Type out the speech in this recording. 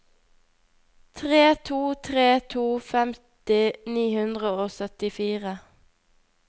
tre to tre to femti ni hundre og syttifire